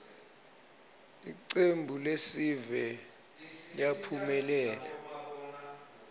ltcembuiesive liyaphumelela